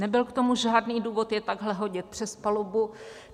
Nebyl k tomu žádný důvod je takhle hodit přes palubu.